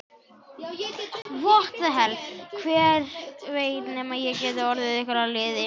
Hver veit nema ég geti orðið ykkur að liði.